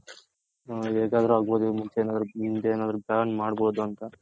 ಹೇಗಾದ್ರು ಆಗ್ ಬೋದು ಮುಂದೆನಾದ್ರು ban ಮಾಡ್ಬೋದು ಅಂತ.